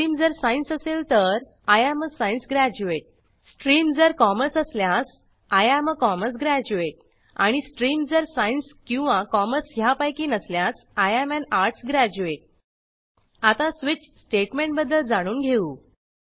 stream जर science असेल तर I am a science graduate stream जर कॉमर्स असल्यास I am a commerce graduate आणि स्ट्रीम जर सायन्स किंवा कॉमर्स ह्यापैकी नसल्यास I am an arts graduate आता स्वीच स्टेटमेंटबद्दल जाणून घेऊ